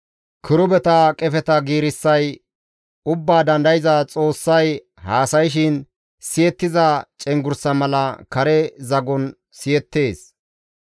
Kirubeta qefeta giirissay Ubbaa Dandayza Xoossay haasayshin siyettiza cenggurssa mala kare zagon siyettees.